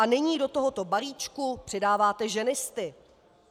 A nyní do tohoto balíčku přidáváte ženisty.